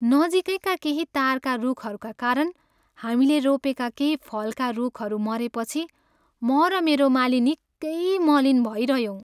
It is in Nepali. नजिकैका केही तारका रूखहरूका कारण हामीले रोपेका केही फलका रूखहरू मरेपछि म र मेरो माली निकै मलिन भइरह्यौँ।